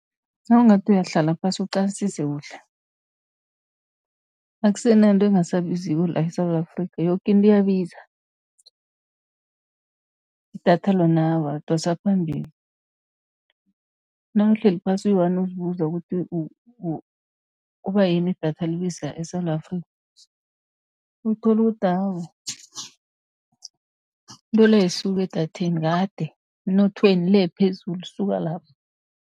Nawungathi uyahlala phasi uqalisise kuhle, akusenanto engasabiziko la eSewula Afrika, yoke into iyabiza. Idatha lona awa lidosa phambili, nawuhleli phasi uyi-one uzibuza ukuthi kubayini idatha libiza eSewula Afrika, uthole ukuthi awa into le ayisuki edatheni, kade emnothweni le phezulu isuka lapho.